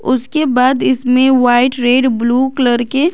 उसके बाद इसमें वाइट रेड ब्लू कलर के--